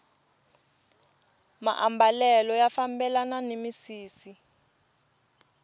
maambalelo ya fambelana ni misisi